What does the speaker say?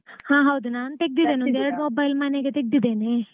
ಹಾ ಹೌದು ನಾನ್ ತೆಗ್ದಿದ್ದೇನೆ ಒಂದ್ ಎರಡ್ mobile ಮನೆಗೆ ತೆಗ್ದಿದೇನೆ.